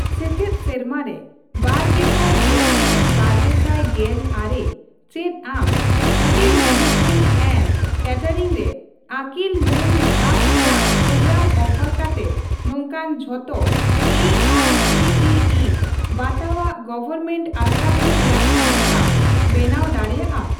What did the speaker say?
ᱥᱮᱪᱮᱫ ᱥᱮᱨᱢᱟ ᱨᱮ ᱵᱟᱨᱜᱮᱥᱟᱭ ᱜᱮᱞ ᱤᱨᱟᱹᱞᱼᱵᱟᱨᱜᱮᱥᱟᱭ ᱜᱮᱞ ᱟᱨᱮ ᱪᱮᱫ ᱟᱢ ᱦᱳᱴᱮᱞ ᱢᱮᱱᱮᱡᱢᱮᱱᱴ ᱮᱱᱰ ᱠᱮᱴᱮᱨᱤᱝ ᱨᱮ ᱟᱹᱠᱤᱞ ᱢᱟᱱ ᱫᱷᱟᱯ ᱨᱮᱱᱟᱜ ᱯᱨᱳᱜᱨᱟᱢ ᱚᱯᱷᱟᱨ ᱠᱟᱛᱮ ᱱᱚᱝᱠᱟᱱ ᱡᱷᱚᱛᱚ A I C T E ᱵᱟᱛᱟᱣᱟᱜ ᱜᱚᱣᱚᱨᱢᱮᱱᱴ ᱟᱥᱲᱟᱠᱚ ᱨᱮᱭᱟᱜ ᱛᱟᱹᱞᱤᱠᱟᱢ ᱵᱮᱱᱟᱣ ᱫᱟᱲᱮᱭᱟᱜᱼᱟ ?